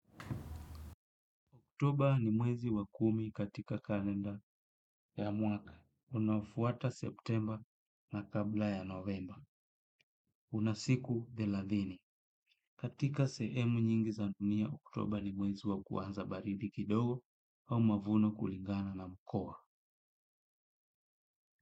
Oktoba ni mwezi wa kumi katika kalenda ya mwaka. Unafuata septemba na kabla ya novemba. Una siku thelathini. Katika sehemu nyingi za dunia oktoba ni mwezi wa kuanza baridi kidogo au mavuno kulingana na mkoa.